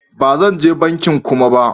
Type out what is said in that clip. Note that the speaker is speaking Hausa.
Ba zan je bankin Kuma ba.